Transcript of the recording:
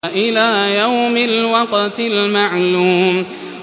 إِلَىٰ يَوْمِ الْوَقْتِ الْمَعْلُومِ